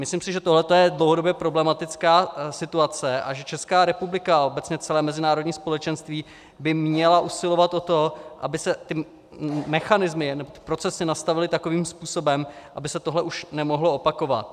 Myslím si, že tohle je dlouhodobě problematická situace a že Česká republika a obecně celé mezinárodní společenství by měly usilovat o to, aby se ty mechanismy a procesy nastavily takovým způsobem, aby se tohle už nemohlo opakovat.